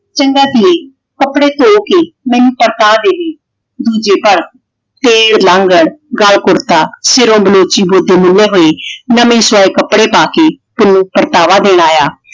ਚੰਗਾ ਧੀਏ ਕੱਪੜੇ ਧੋ ਕੇ ਮੈਨੂੰ ਪਕੜਾ ਦੇਵੀ। ਦੂਜੇ ਘਰ ਫੇਰ ਲਾਂਗੜ ਗਲ ਕੁੜਤਾ ਤੇ ਸਿਰੋਂ ਬਲੋਚੀ ਗੋਡੇ ਮੁੰਨੇ ਹੋਏ ਨਵੇਂ ਸਵਾਏ ਕੱਪੜੇ ਪਾ ਕੇ ਪੁੰਨੂੰ ਪਰਤਾਵਾ ਦੇਣ ਆਇਆ।